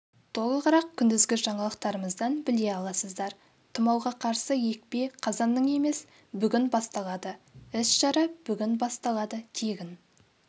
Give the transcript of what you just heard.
толығырақ күндізгі жаңалықтарымыздан біле аласыздар тұмауға қарсы екпе қазанның емес бүгін басталады іс-шара бүгін басталады тегін